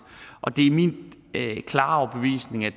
og det er min klare overbevisning at